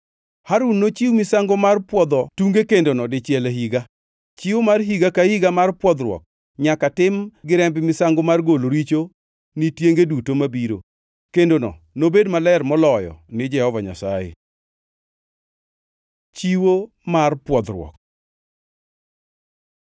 Harun nochiw misango mar pwodho tunge kendono dichiel e higa. Chiwo mar higa ka higa mar pwodhruok nyaka tim gi remb misango mar golo richo ni tienge duto mabiro. Kendono nobed maler moloyo ni Jehova Nyasaye.” Chiwo mar pwodhruok